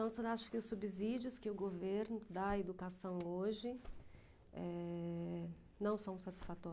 Então, o senhor acha que os subsídios que o governo dá à educação hoje, eh, não são